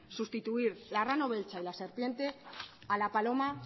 sustituir el arrano beltza y la serpiente a la paloma